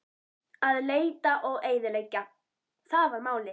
Að leita og eyðileggja: það var málið.